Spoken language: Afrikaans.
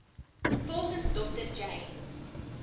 volgens dr james